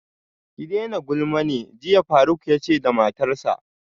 Ki daina gulma ne jiya faruk yace da matarsa